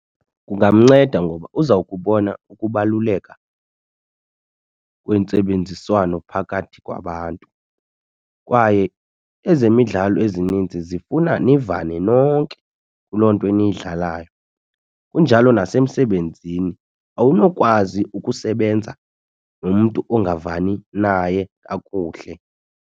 Kungamnceda ngoba uzawukubona ukubaluleka kwentsebenziswano phakathi kwabantu, kwaye ezemidlalo ezininzi zifuna nivane nonke kuloo nto niyidlalayo. Kunjalo nasemsebenzini awunokwazi ukusebenza nomntu ongavani naye kakuhle.